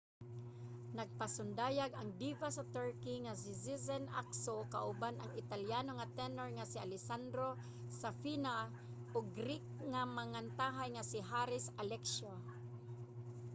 nagpasundayag ang diva sa turkey nga si sezen aksu kauban ang italiano nga tenor nga si alessandro safina ug greek nga mangantahay nga si haris alexiou